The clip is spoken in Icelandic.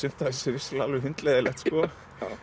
vissulega alveg hundleiðinlegt sko